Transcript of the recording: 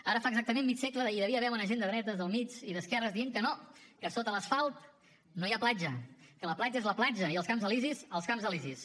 ara fa exactament mig segle hi devia haver bona gent de dretes del mig i d’esquerra dient que no que sota l’asfalt no hi ha platja que la platja és la platja i els camps elisis els camps elisis